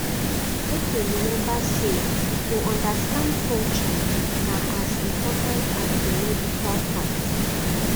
make we remember say to understand culture na as important as the medical part